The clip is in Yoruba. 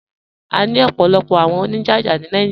À ní ọ̀pọ̀lọ̀pọ̀ àwọn oníjájá ni Naijíríà.